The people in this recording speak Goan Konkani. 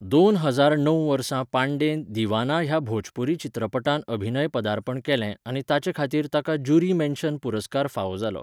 दोन हजार णव वर्सा पांडेन 'दीवाना' ह्या भोजपुरी चित्रपटांत अभिनय पदार्पण केलें आनी ताचे खातीर ताका जूरी मेन्शन पुरस्कार फावो जालो.